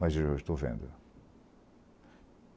Mas hoje eu estou vendo.